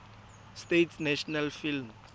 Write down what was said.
states national film